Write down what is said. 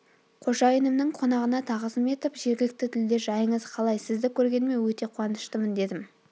қожайынымның қонағына тағзым етіп жергілікті тілде жайыңыз қалай сізді көргеніме өте қуаныштымын дедім